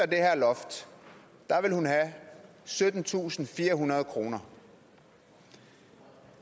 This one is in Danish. det her loft vil hun have syttentusinde og firehundrede kroner